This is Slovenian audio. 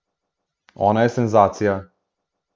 Ona je senzacija.